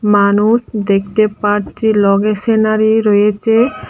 মানুষ দেখতে পারছি লগে সিনারি রয়েছে।